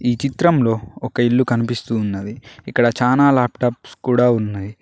ఈ చిత్రంలో ఒక ఇల్లు కనిపిస్తూ ఉన్నది ఇక్కడ చానా లాప్టాప్స్ కూడా ఉన్నయి.